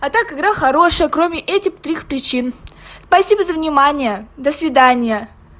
а так игра хорошая кроме этих трёх причин спасибо за внимание до свидания